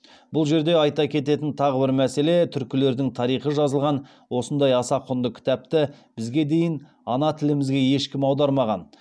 бұл жерде айта кететін тағы бір мәселе түркілердің тарихы жазылған осындай аса құнды кітапты бізге дейін ана тілімізге ешкім аудармаған